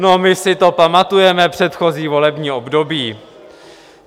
No, my si to pamatujeme předchozí volební období.